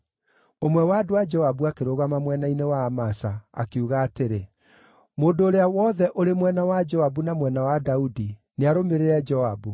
Ũmwe wa andũ a Joabu akĩrũgama mwena-inĩ wa Amasa, akiuga atĩrĩ, “Mũndũ ũrĩa wothe ũrĩ mwena wa Joabu na mwena wa Daudi, nĩarũmĩrĩre Joabu!”